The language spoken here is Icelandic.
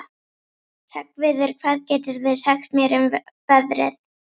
Hreggviður, hvað geturðu sagt mér um veðrið?